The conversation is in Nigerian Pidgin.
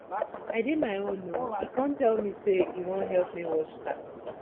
i dey my own he come tell me say he wan help me wash car